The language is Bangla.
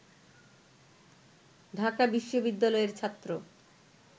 ঢাকা বিশ্ববিদ্যালয়ের ছাত্র